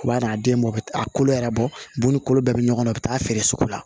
U b'a n'a den bɔ a kolo yɛrɛ bɔ ni kolo bɛɛ bɛ ɲɔgɔn na u bɛ taa feere sugu la